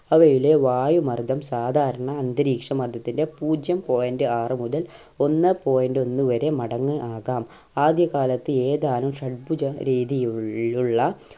അവയിലെ വായുമർദ്ദം സാധാരണ അന്തരീക്ഷ മധ്യത്തിൻ്റെ പൂജ്യം point ആറുമുതൽ ഒന്ന് point ഒന്നുവരെ മടങ്ങ് ആകാം ആദ്യകാലത്ത് ഏതാനും ഷഡ്‌ബുജ രീതിയിയുൾ ലുളള